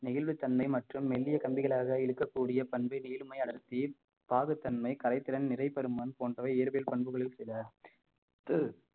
நெகிழ்வு தன்மை மற்றும் மெல்லிய கம்பிகளாக இழுக்கக்கூடிய பாகுத் தன்மை கலைத்திறன் நிறைபருமன் போன்றவை இயற்பியல் பண்புகளில் சில